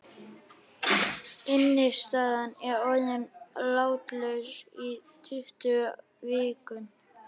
Innistaðan er orðin látlaus í tuttugu vikur.